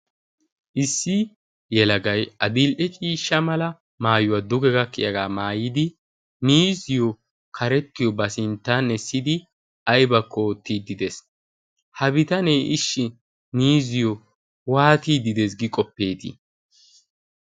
Issi yelagay adil"e ciisha mala maayuwa duge gakkiyagaa maayidi miizziyo karettiyo ba sinttan essidi aybakko oottiiddi dees. Ha bitanee ishshi miizziyo waatiidde de'ees gi qoppeetii?